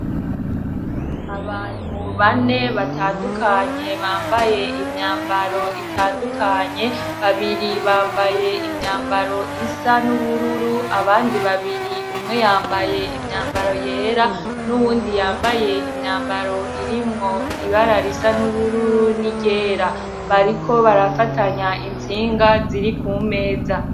Abantu bane batandukanye bambaye imyambaro itandukanye, babiri bambaye imyambaro isa n'ubururu abandi babiri, umwe yambaye imyambaro yera n'uwundi yambaye imyambaro irimwo ibarara risa n'ubururu n'iryera, bariko barafatanya intsinga ziri kumeza.